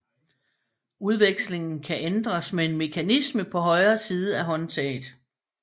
Udvekslingen kan ændres med en mekanisme på højre side af håndtaget